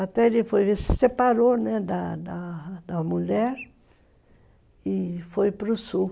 Até ele se separou da da mulher e foi para o Sul.